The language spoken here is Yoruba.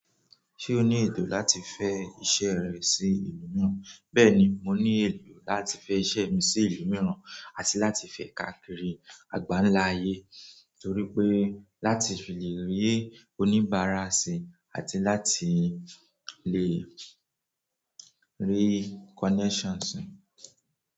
Ṣé o ní ètò láti fẹ iṣẹ́ rẹ sí ìlú mìíràn? Bẹ́ẹ̀ni, mo ní ètò láti fẹ iṣẹ́ mi sí ìlú mìíràn àti láti fẹ káàkiri àgbáńlá ayé torí pé láti fi llè rì oníbàárà sí àti láti lè rí connections sì.